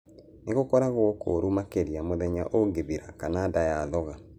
Nĩ gũkoragwo kũru makĩria mũthenya ũngĩthira kana nda yathonga.